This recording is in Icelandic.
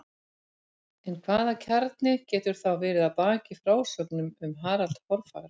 En hvaða kjarni getur þá verið að baki frásögnum um Harald hárfagra?